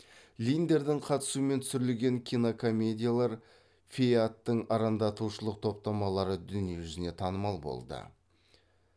линдердің қатысуымен түсірілген кинокомедиялар фейадтың арандатушылық топтамалары дүние жүзіне танымал болды